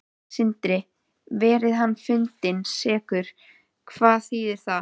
Sindri: Verði hann fundinn sekur, hvað þýðir það?